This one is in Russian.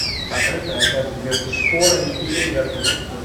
покажи трансляцию между шпорами и эвертоном